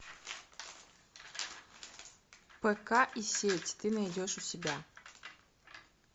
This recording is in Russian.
пк и сеть ты найдешь у себя